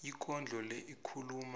ikondlo le ikhuluma